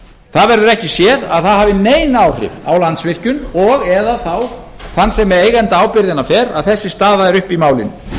það verður ekki séð að það hafi nein áhrif á landsvirkjun og eða þann sem eigendaábyrgðina ber að þessi staða er uppi í málinu